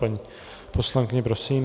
Paní poslankyně, prosím.